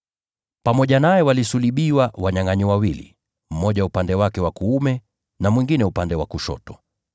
Pamoja naye walisulubiwa wanyangʼanyi wawili, mmoja upande wake wa kuume na mwingine upande wa kushoto. [